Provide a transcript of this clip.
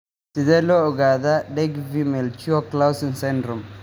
Sidee loo ogaadaa Dyggve Melchior Clausen syndrome?